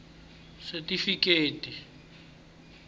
setifikheti